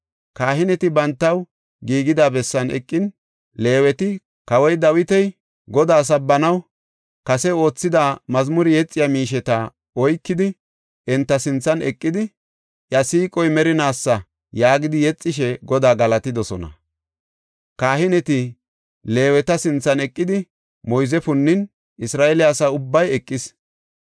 Kahineti bantaw giigida bessan eqin, Leeweti kawoy Dawiti Godaa sabbanaw kase oothida mazmure yexiya miisheta oykidi enta sinthan eqidi, “Iya siiqoy merinaasa” yaagidi yexishe Godaa galatidosona. Kahineti Leeweta sinthan eqidi moyze punnin Isra7eele asa ubbay eqis.